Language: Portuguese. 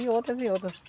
E outras, e outras.